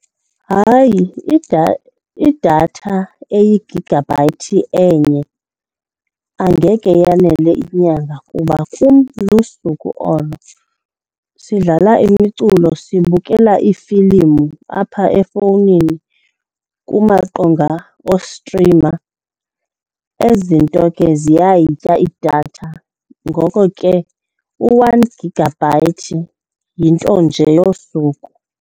Hayi, idatha eyi-gigabyte enye angeke yanele inyanga kuba kum lusuku olo. Sidlala imiculo, sibukela iifilimu apha efowunini kumaqonga wostrima. Ezi zinto ke ziyayitya idatha, ngoko ke u-one gigabyte yinto nje yosuku.